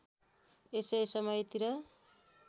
यसै समयतिर